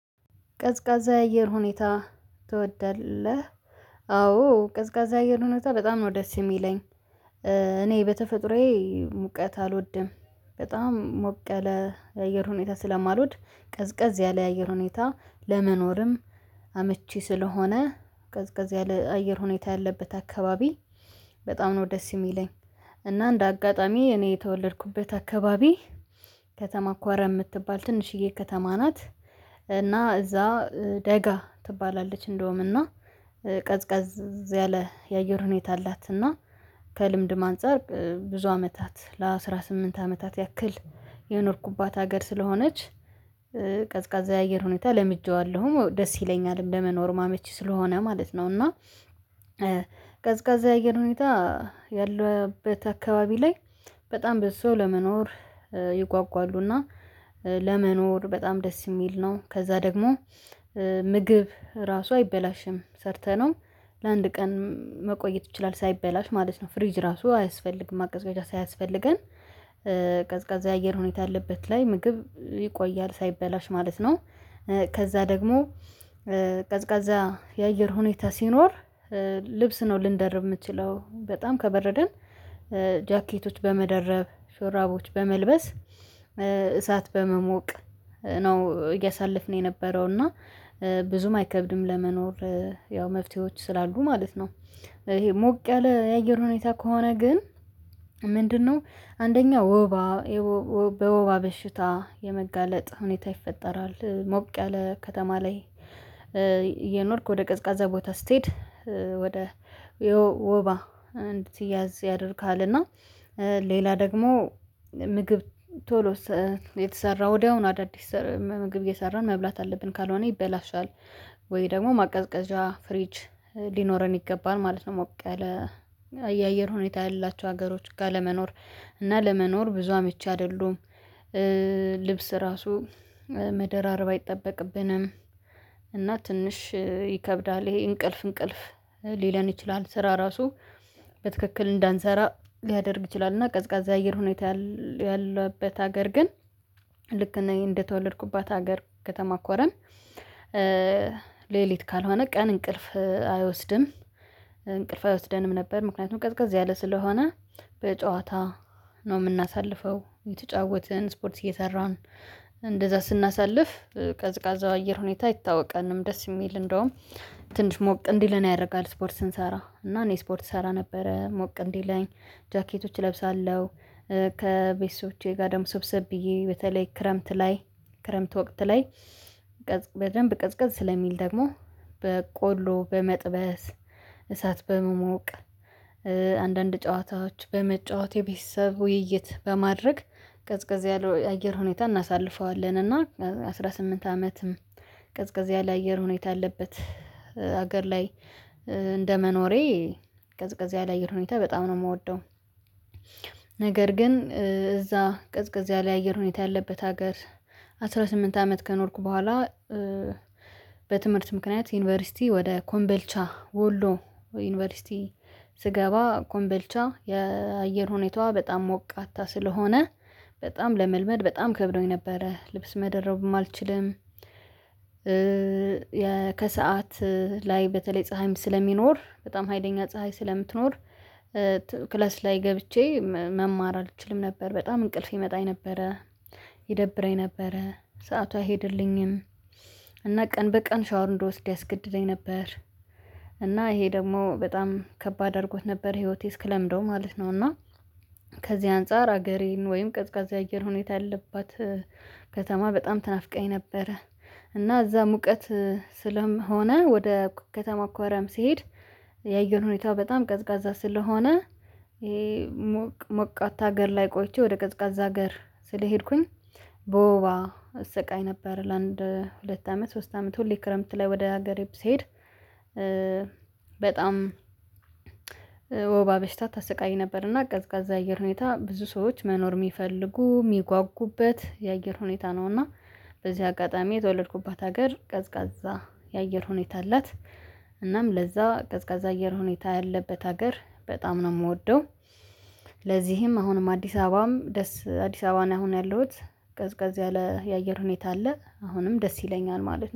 ቀዝቃዛ አየር ሁኔታ ትወዳለህ? አዎ ቀዝቃዛ አየር ሁኔታ በጣም ነው ደስ የሚለኝ። እኔ በተፈጥሮዬ ሙቀት አልወድም። በጣም ሞቀ ያለ አየር ሁኔታ ስለማልወድ ቀዝቀዝ ያለ አየር ሁኔታ። ለመኖርም አመቺ ስለሆነ ቀዝቀዝ ያለ አየር ሁኔታ ያለበት አካባቢ በጣም ነው ደስ የሚለኝ። እና እንደ አጋጣሚ እኔ የተወለድኩበት አካባቢ ከተማ ኮረም የምትባል ትንሽዬ ከተማ ናት። እና እዛ ደጋ ትባላለች እንደውምና ቀዝቃዝ ላይ የአየር ሁኔታ አላትና። ማንፀር ብዙ አመታት ለአስራ ስምንት አመታት ያክል የኖርኩባት ሀገር ስለሆነች። ቀዝቃዛ የአየር ሁኔታ ለምጄዋለሁም አወ ደስ ይለኛል እንደመኖሩምመቺ ስለሆነ ማለት ነው። እና ቀዝቃዛ የአየር ሁኔታ ያለበት አካባቢ ላይ በጣም በሰው ለመኖር ይጓጓሉና ለመኖር በጣም ደስ የሚል ነው። ከዛ ደግሞ ምግብ ራሱ አይበላሽም ሰርተነው ለአንድ ቀን መቆየት ይችላል ሳይበላሽ ማለት ነው። ፍሪጅ ራሱ አያስፈልግም ማቀዝቀዣ ሳያስፈልገን። ቀዝቃዛ የአየር ሁኔታ ያለበት ላይ ምግብ ይቆያል ሳይበላሽ ማለት ነው። ከዛ ደግሞ ቀዝቃዛ የአየር ሁኔታ ሲኖር ልብስ ነው ልንደርብ የምትችለው በጣም ከበረደን። ጃኬቶች በመደረብ ሹራቦች በመልበስ እሳት በመሞቅ ነው እያሳለፍን የነበረው እና ብዙም አይከብድም ለመኖር ያው መፍትሄዎች ስላሉ ማለት ነው። ይሄ ሞቅ ያለ የአየር ሁኔታ ከሆነ ግን ምንድነው? አንደኛው ወባ በወባ በሽታ የመጋለጥ ሁኔታ ይፈጠራል ሞቅ ያለ ከተማ ላይ። እየኖርክ ወደ ቀዝቃዛ ቦታ ስትሄድ ወደ ወባ እንድትያዝ ያደርግሃል። እና ሌላ ደግሞ ምግብ ቶሎ የተሰራ ወዲያውኑ አዳዲስ ምግብ እየሰራን መብላት አለብን ካልሆነ ይበላሻል። ወይ ደግሞ ማቀዝቀዣ ፍሪጅ ሊኖረን ይገባል ማለት ነው። ሞቀለ አየር ሁኔታ ያላቸው ሀገሮች ጋር ለመኖር እና ለመኖር ብዙ አመቺ አይደሉም። ልብስ ራሱ መደራረብ አይጠበቅብንም። እና ትንሽ ይከብዳል ይሄ እንቅልፍ እንቅልፍ ሊለን ይችላል። ስራ ራሱ በትክክል እንዳንሰራ ሊያደርግ ይችላል። እና ቀዝቃዛ አየር ሁኔታ ያለበት ሀገር ግን ልክ እና እንደተወለድኩባት ሀገር ከተማ ኮረም። ሌሊት ካልሆነ ቀን እንቅልፍ አይወስድም እንቅልፍ አይወስደንም ነበር ምክንያቱም ቀዝቃዝ ያለ ስለሆነ። በጨዋታ ነው የምናሳልፈው እየተጫወትን ስፖርት እየሰራን እንደዛ ስናሳልፍ ቀዝቃዛው አየር ሁኔታ አይታወቀንም ደስ የሚል እንደውም ትንሽ ሞቅ እንዲለን ያደርጋል። ስፖርት ስንሰራ እና እኔ ስፖርት እሰራ ነበረ ሞቅ እንዲለኝ ጃኬቶች እለብሳለሁ። ከቤተሰቦቼ ጋር ደግሞ ሰብሰብ ብዬ በተለይ ክረምት ላይ ክረምት ወቅት ላይ ቀዝቅ በደንብ ቀዝቀዝ ስለሚል ደግሞ በቆሎ በመጥበስ እሳት በመሞቅ አንዳንድ ጨዋታዎች በመጫወት የቤተሰብ ውይይት በማድረግ ቀዝቃዝ ያለው አየር ሁኔታ እናሳልፈዋለን። እና አስራ ስምንት አመትም ቅዝቅዝ ያለ አየር ሁኔታ አለበት ሀገር ላይ መኖሬ ቀዝቀዝ ያላ የአየር ሁኔታ በጣም ነው የምወደው። ነገር ግን እዛ ቅዝቅዝ ያለ አየር ሁኔታ ያለበት ሀገር አስራ ስምንት አመት ከኖርኩ በኋላ። በትምህርት ምክንያት ዩኒቨርሲቲ ወደ ኮምበልቻ ወሎ ዩኒቨርሲቲ ስገባ ኮምበልቻ የአየር ሁኔታዋ በጣም ሞቅ አታ ስለሆነ በጣም ለመልመድ በጣም ከብዶኝ ነበረ ልብስ መደረቡም አልችልም። ከሰአት ላይ በተለይ ፀሀይም ስለሚኖር በጣም ሀይለኛ ፀሀይ ስለምትኖር። ክለስ ላይ ገብቼ መማር አልችልም ነበር በጣም እንቅልፍ ይመጣኝ ነበረ። ይደብረኝ ነበረ ሰአቷ አይሄድልኝም። እና ቀን በቀን ሻወር እንድወስድ ያስገድደኝ ነበር እና ይሄ ደግሞ በጣም ከባድ አድርጎት ነበር ህይወቴ እስክለምደው ማለት ነው። እና ከዚህ አንፃር ሀገሬን ወይም ቀዝቃዛ አየር ሁኔታ ያለባት ከተማ በጣም ትናፍቀኝ ነበረ። እና እዛ ሙቀት ስለምሆነ ወደ ከተማ ኮረም ሲሄድ የአየር ሁኔታው በጣም ቀዝቃዛ ስለሆነ። ሞቅ ሞቃታ ሀገር ላይ ቆይቼ ወደ ቀዝቃዛ ሀገር ስለሄድኩኝ በወባ እሰቃይ ነበር ለአንድ ሁለት አመት ሶስት አመት ሁሌ ክረምት ላይ ወደ ሀገሬ ስሄድ። በጣም ወባ በሽታ ስሰቃይ ነበርና ቀዝቃዛ አየር ሁኔታ ብዙ ሰዎች መኖር የሚፈልጉ የሚጓጉበት የአየር ሁኔታ ነውና። በዚህ አጋጣሚ የተወለድኩባት ሀገር ቀዝቃዛ የአየር ሁኔታ አላት። እናም ለዛ ቀዝቃዛ አየር ሁኔታ ያለበት ሀገር በጣም ነው የምወደው። ለዚህም አሁንም አዲስ አበባም ደስ አዲስ አበባ ነው አሁን ያለሁት ገዝገዝ ያለ የአየር ሁኔታ አለ አሁንም ደስ ይለኛል ማለት ነው